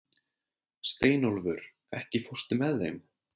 Steinólfur, ekki fórstu með þeim?